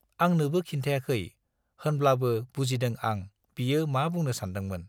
आंनोबो खिन्थायाखै, होनब्लाबो बुजिदों आं बियो मा बुंनो सानदोंमोन।